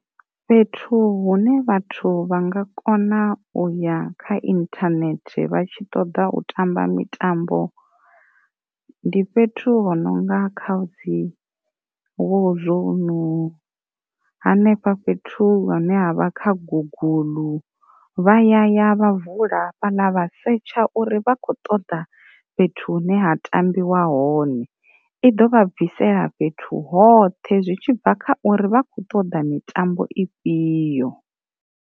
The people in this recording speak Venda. Fhethu hune vhathu vha nga kona uya kha inthanethe vha tshi ṱoḓa u tamba mitambo, ndi fhethu hononga khadzi wo zwouno hanefha fhethu hune ha vha kha guguḽu vha ya vha vula fhaḽa vha setsha uri vha kho ṱoḓa fhethu hune ha tambiwa hone, i ḓo vha bvisela fhethu hoṱhe zwi tshi bva kha uri vha kho ṱoḓa mitambo i fhio.